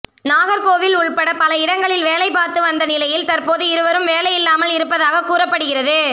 நாகர்கோவில் உள்பட பல இடங்களில் வேலை பார்த்து வந்த நிலையில் தற்போது இவருக்கு வேலை இல்லாமல் இருப்பதாக கூறப்படுகிறது